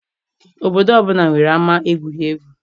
Obodo ọbụla nwere ama egwuregwu.